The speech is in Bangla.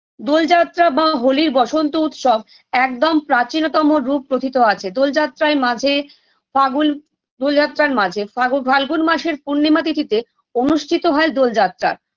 দোলযাত্রা বা হোলির বসন্ত উৎসব একদম প্রাচীনতম রূপ প্রোথিত আছে দোলযাত্রায় মাঝে ফাগুল দোলযাত্রার মাঝে ফাগু ফাল্গুন মাসের পূর্ণিমা তিথিতে অনুষ্ঠিত হয় দোলযাত্রা